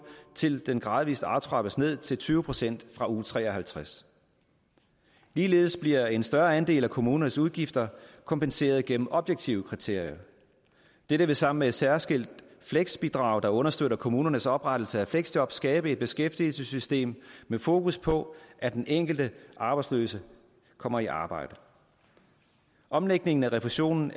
til den gradvis aftrappes ned til tyve procent fra uge tre og halvtreds ligeledes bliver en større andel af kommunernes udgifter kompenseret gennem objektive kriterier dette vil sammen med et særskilt fleksbidrag der understøtter kommunernes oprettelse af fleksjob skabe et beskæftigelsessystem med fokus på at den enkelte arbejdsløse kommer i arbejde omlægningen af refusionen